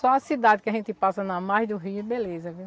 Só a cidade que a gente passa na margem do Rio, beleza, viu?